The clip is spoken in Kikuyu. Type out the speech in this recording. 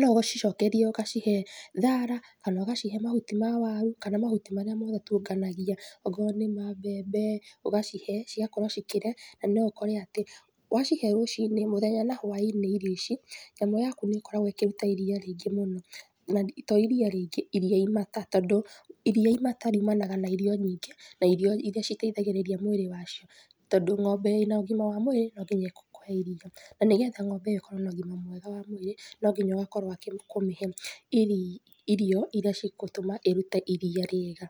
no ucicokerie ũgacihe thara kana ũgacihe mahuti ma waru kana mahuti marĩa mũgũtukanagia, okorwo nĩ ma mbembe ũgacihe cigakorwo cikĩrĩa na no ũkore atĩ wacihe rũcinĩ mũthenya na hwa-inĩ irio ici nyamũ yaku nĩ ĩkoragwo ĩkĩruta iria rĩingĩ muno na to iria rĩingĩ iria imata tondũ iria imata riumanaga na irio nyingĩ na irio irĩa citithagĩrĩria mũĩrĩ wacio tondũ ĩ na ũgima wa mũĩrĩ no nginya ikũhe iria na nĩgetha ng'ombe ikorwo na ũgima mwega wa mũĩrĩ no nginya ũgakorwo ũkũmĩhe irio irĩa cigũtũma ĩrute iria rĩega.